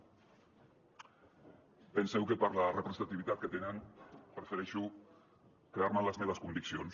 penseu que per la representativitat que tenen prefereixo quedar me amb les meves conviccions